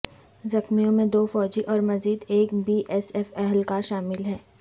زخمیوں میں دو فوجی اور مزید ایک بی ایس ایف اہلکار شامل ہیں